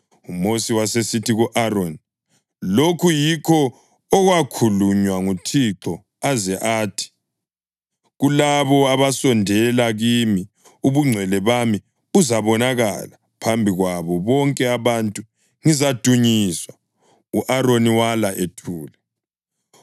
UMosi wasesithi ku-Aroni, “Lokhu yikho okwakhulunywa nguThixo aze athi: ‘Kulabo abasondela kimi Ubungcwele bami buzabonakala, phambi kwabo bonke abantu Ngizadunyiswa.’ ” U-Aroni wala ethule.